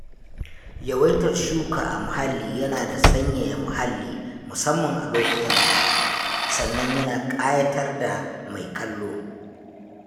Yawaitar shuka a muhalli yana sanyaya muhalli musamman a lokutan zafi, sannan ya na ƙayatar da mai kallo.